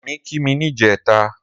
Remi ki mi nijètá